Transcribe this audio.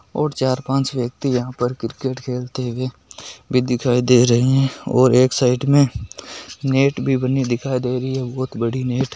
और चार पांच व्यक्ति यहा पर क्रिकेट खलते भी दिखाय दे रहे हैऔर के साइड में नेट भी दिखाय ददे रही है बहुत बड़ी नेट --